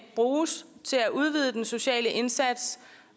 bruges til at udvide den sociale indsats